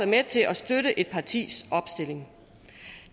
med til at støtte et partis opstilling